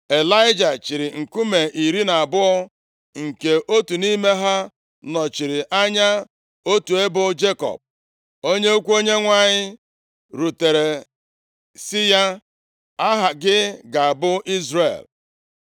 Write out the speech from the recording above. Ịlaịja chịịrị nkume iri na abụọ, nke otu nʼime ha nọchiri anya otu ebo Jekọb, onye okwu Onyenwe anyị rutere si ya, “Aha gị ga-abụ Izrel.”